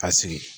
Ka sigi